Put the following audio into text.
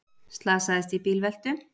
Slasaðist í bílveltu